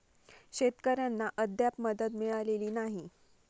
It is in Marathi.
शेतकऱ्यांना अद्याप मदत मिळालेली नाही.